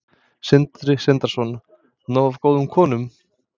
Sindri Sindrason: Nóg af góðum konum?